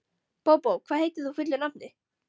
Bóbó, hvað heitir þú fullu nafni?